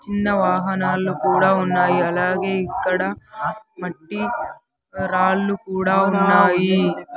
చిన్న వాహనాల్లో కూడా ఉన్నాయి అలాగే ఇక్కడ మట్టి రాళ్లు కూడా ఉన్నాయి.